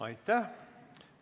Aitäh!